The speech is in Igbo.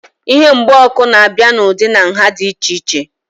Ihe mgba ọkụ na-abịa n'ụdị na nhá dị iche iche